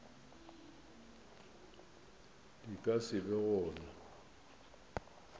di ka se be gona